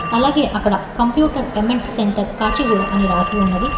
అలాగే అక్కడ కంప్యూటర్ ఎమెంట్ సెంటర్ కాచిగూడ అని రాసి ఉన్నది.